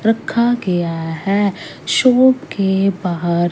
रखा गया है शॉप के बाहर--